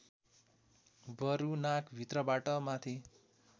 बरू नाकभित्रबाट माथि